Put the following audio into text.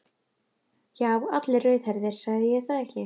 Já, allir rauðhærðir, sagði ég það ekki.